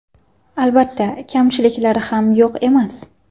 Albatta, kamchiliklari ham yo‘q emas.